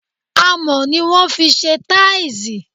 Amò ni wọn fise taisi